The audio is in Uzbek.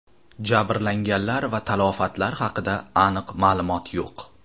Jabrlanganlar va talafotlar haqida aniq ma’lumot yo‘q.